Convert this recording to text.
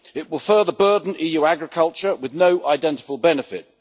It will further burden EU agriculture with no identifiable benefit.